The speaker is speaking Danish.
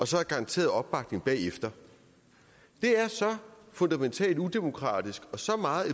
så er garanteret opbakning bagefter det er så fundamentalt udemokratisk og så meget